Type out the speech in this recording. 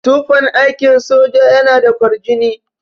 Tufan aikin soja yana da kwarjini.